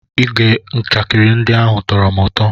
Ige njakịrị ndị ahụ tọrọ m ụtọ.